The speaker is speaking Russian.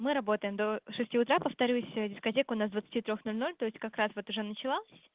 мы работаем до шести утра повторюсь дискотека у нас с двадцати трёх ноль ноль то есть как раз вот уже началась